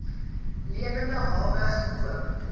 lewende hawe gekoop